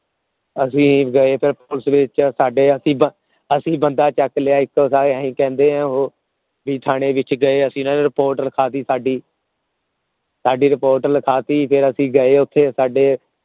ਅਸੀਂ ਗਏ ਤਾ ਉਸ ਵਿਚ ਸਾਡੇ ਅਸੀਂ ਅਸੀਂ ਬੰਦਾ ਚੱਕ ਲਿਆ ਇੱਕ ਓਹਦਾ ਕਿ ਕਹਿੰਦੇ ਹੈ ਉਹ ਵੀ ਅਸੀਂ ਥਾਣੇ ਵਿਚ ਗਏ ਇਨ੍ਹਾਂ ਨੇ ਲੱਖਾਂ ਤੀ ਸਾਡੀ ਸਾਡੀ reportreport ਲੱਖਾਂ ਤੀ ਫੇਰ ਅਸੀਂ ਗਏ ਓਥੇ ਸਾਡੇ